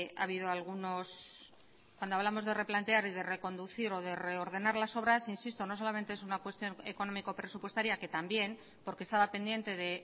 ha habido algunos cuando hablamos de replantear y de reconducir o de reordenar las obras insisto no solamente es una cuestión económico presupuestaria que también porque estaba pendiente de